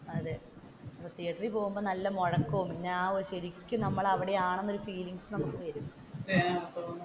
അതെ തീയറ്ററിൽ പോകുമ്പോൾ നല്ല മുഴക്കവും പിന്നെ ശരിക്കും അവിടെയാണെന്നുള്ള ഫീലിങ്ങ്സ് നമുക്ക് വരും